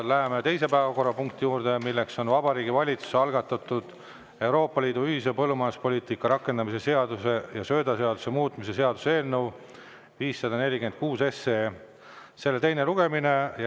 Läheme teise päevakorrapunkti juurde: Vabariigi Valitsuse algatatud Euroopa Liidu ühise põllumajanduspoliitika rakendamise seaduse ja söödaseaduse muutmise seaduse eelnõu 546 teine lugemine.